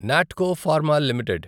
Natco pharma limited